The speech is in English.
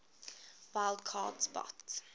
wild card spot